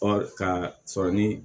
Ɔ ka sɔrɔ ni